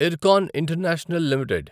Ircon international limited